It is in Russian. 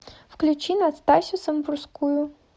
включи настасью самбурскую